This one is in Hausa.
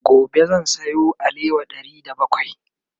gobe zan Sayo alewa Ɗari da bakwai